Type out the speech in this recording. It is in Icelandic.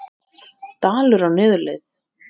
Dalur á niðurleið